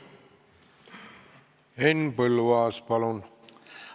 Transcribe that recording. Henn Põlluaas, palun!